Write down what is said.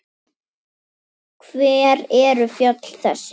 Hver eru fjöll þessi?